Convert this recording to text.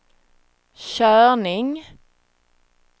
körning